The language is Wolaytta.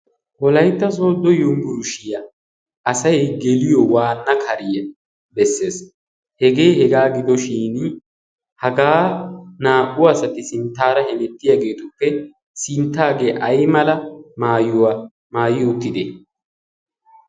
Wolaytta Sooddo yunbburishshiya asay geliyo waanna kariya bessees. Hegee hegaa gidoshin hagaa naa"u asati sinttaara hemettiyageetuppe sinttaagee aymala maayuwa maayi uttidee?